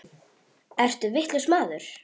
Ertu vitlaus maður?